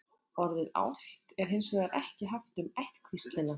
orðið álft er hins vegar ekki haft um ættkvíslina